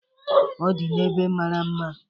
Ọ di n'ebe mara mma.